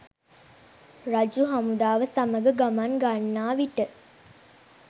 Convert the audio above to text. රජු හමුදාව සමඟ ගමන් ගන්නාවිට